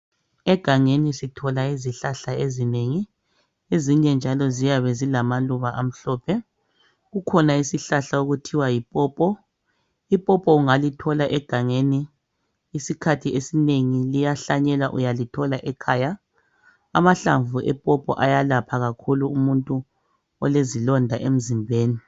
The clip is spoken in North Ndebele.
Egangeni sithola izihlahla ezinengi ezinye njalo ziyabe zilamaluba amhlophe. Kukhona isihlahla okuthiwa yi pawpaw .I pawpaw ungalithola egangeni .Isikhathi esinengi liyahlanyelwa uyalithola ekhaya Amahlamvu e pawpaw ayalapha kakhulu umuntu olezilonda emzimbeni